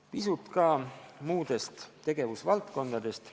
Pisut ka muudest tegevusvaldkondadest.